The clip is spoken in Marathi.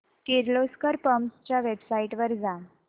किर्लोस्कर पंप्स च्या वेबसाइट वर जा